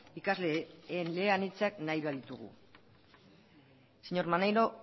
ikasle eleanitzak nahi baditugu señor maneiro